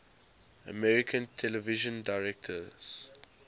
american television directors